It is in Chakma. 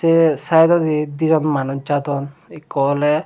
te saidodi dijon manuj jadon ekko awle.